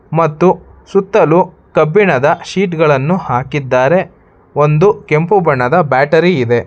ಮತ್ತು ಸುತ್ತಲು ಕಬ್ಬಿಣದ ಶೀಟ್ ಗಳನ್ನು ಹಾಕಿದ್ದಾರೆ ಒಂದು ಕೆಂಪು ಬಣ್ಣದ ಬ್ಯಾಟರಿ ಇದೆ.